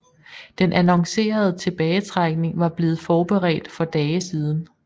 Den annoncerede tilbagetrækning var blevet forberedt for dage siden